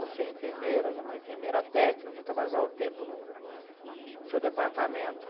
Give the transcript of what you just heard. Você é enfermeira, já é uma enfermeira técnica, já trabalhou há um tempo no seu departamento.